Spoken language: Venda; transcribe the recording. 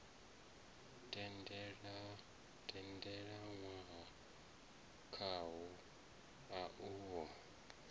tendelanwaho khawo a u ho